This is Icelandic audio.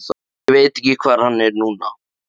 Ég veit ekki hvar hann er núna.